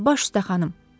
Baş üstə xanım.